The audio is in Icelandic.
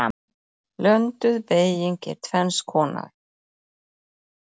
Blönduð beyging er tvenns konar